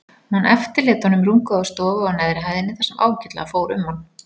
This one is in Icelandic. Hún eftirlét honum rúmgóða stofu á neðri hæðinni þar sem ágætlega fór um hann.